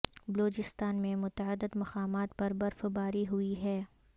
بلوچستان میں متعدد مقامات پر برف باری ہوئی ہے